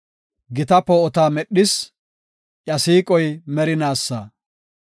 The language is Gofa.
Gita poo7ota medhis; iya siiqoy merinaasa.